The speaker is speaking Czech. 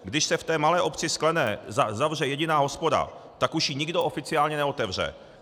Když se v té malé obci Sklené zavře jediná hospoda, tak už ji nikdo oficiálně neotevře.